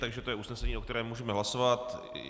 Takže to je usnesení, o kterém můžeme hlasovat.